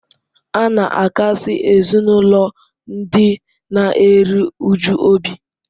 A na-akasi ezinụlọ ndị na-eru uju obi.